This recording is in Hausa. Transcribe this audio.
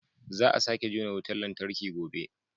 Za a sake jona wutar lantarki gobe